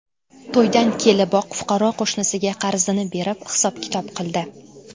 To‘ydan keliboq fuqaro qo‘shnisiga qarzini berib, hisob-kitob qildi.